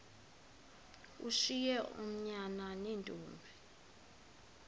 ushiye oonyana neentombi